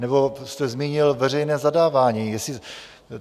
Nebo jste zmínil veřejné zadávání.